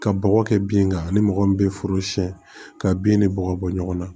Ka bɔgɔ kɛ bin kan ani mɔgɔ min bɛ foro siɲɛ ka bin ni bɔgɔ bɔ ɲɔgɔn na